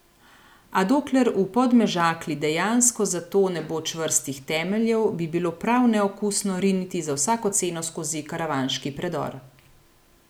A dokler v Podmežakli dejansko za to ne bo čvrstih temeljev, bi bilo prav neokusno riniti za vsako ceno skozi Karavanški predor.